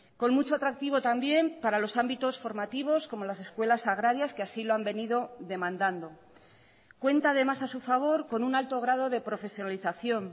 con mucho atractivo también para los ámbitos formativos como las escuelas agrarias que así lo han venido demandando cuenta además a su favor con un alto grado de profesionalización